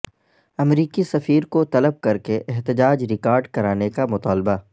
امریکی سفیر کو طلب کرکے احتجاج ریکارڈ کرانے کا مطالبہ